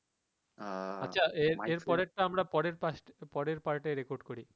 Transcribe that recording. আ